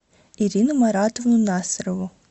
ирину маратовну насырову